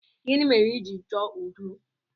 Gịnị mere iji chọọ udo?